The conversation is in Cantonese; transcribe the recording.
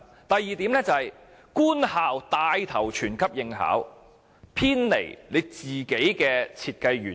第二點，是官校牽頭全級應考，偏離了 BCA 本身的設計原意。